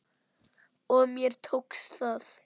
Og mér tókst það.